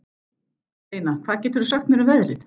Steina, hvað geturðu sagt mér um veðrið?